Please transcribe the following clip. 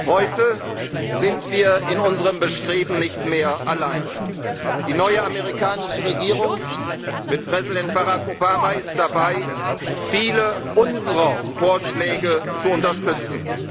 Heute sind wir in unserem Bestreben nicht mehr allein Die neue amerikanische Regierung mit Präsident Barack Obama ist dabei, viele unserer Vorschläge zu unterstützen.